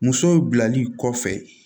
Muso bilali kɔfɛ